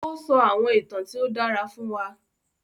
O sọ àwọn ìtàn tí o dàrá fún wa.